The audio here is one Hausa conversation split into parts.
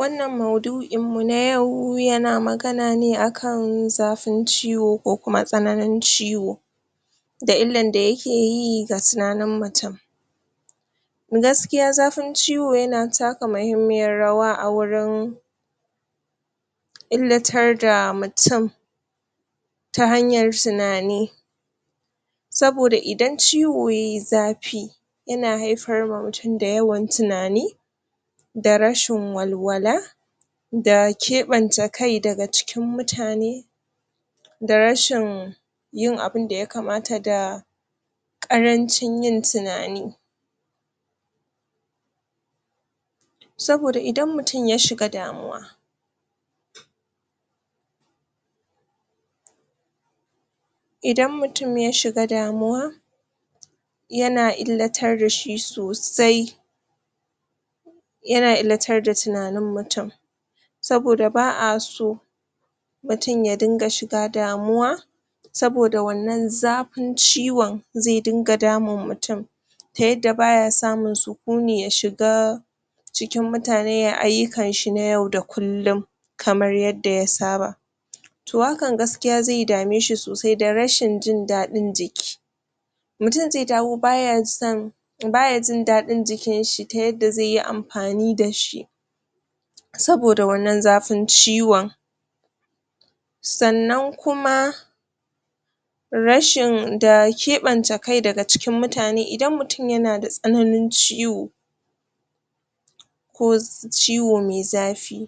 wannan maudu'in mu na yau yana magana ne akan zafin ciwo ko tsananin ciwo da illar da da yakeyi da tinanin mutum gaskiya zafin ciwo yana taka muhimmiyar rawa a wurin illatar da mutum ta hanyar tinani saboda idan ciwo yayi zafi yana haifar wa mutum yawan tinani da rashin walwala da keɓen ce kai daga cikin mutane da rashin yin abunda ya kamata da ƙarancin yin tunani saboda idan mutum yashi ga damuwa idan mutum yashi ga damuwa yana illatar dashi sosai yana illatar da tunanin mutum saboda ba'a so mutum ya dinga shiga damuwa saboda wannan zafin ciwon zai dinga damun mutum ta yadda baya samun sukuni ya shi ga cikin mutane yayi ayyukan shi na yau da kullum kamar yadda ya saba to hanka gaskiya zai da meshi sosai da rashin jin dadin jiki mutum zai dawo baya son baya jin dadin jikin shi ta yadda zaiyi amfani dashi saboda wannan zafin ciwon sannan kuma rashin da keɓance kai daga shiga cikin mutane idan mutum yanada tsananin ciwo ko ciwo mai zafi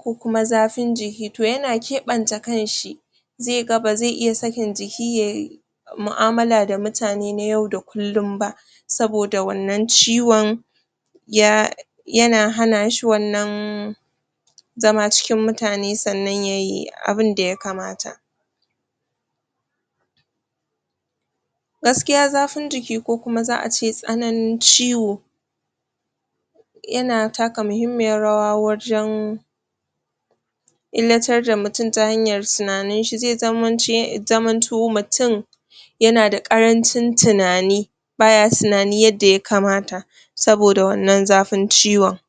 ko kuma zafin jiki to yana keɓenci kanshi zai ga bazai iya sakin jiki yayi mu'amala da mutane na yau da kullum ba saboda wannan ciwon ya yana hana shi wannan zama cikin mutane yayi abunda ya kamata gaskiya zafin jiki ko ace tsananin ciwo yana taka muhimmiyar wara wajen illatar da mutum ta hanyar tinanin shi zai zaman to mutum yana da ƙarancin tinani baya tinani yadda ya kamata saboda wannan zafin ciwon